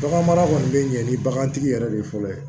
Baganmara kɔni bɛ ɲɛ ni bagantigi yɛrɛ de ye fɔlɔ ye